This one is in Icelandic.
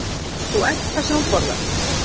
Þú ert það sem þú borðar!